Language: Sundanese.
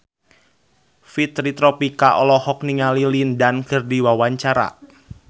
Fitri Tropika olohok ningali Lin Dan keur diwawancara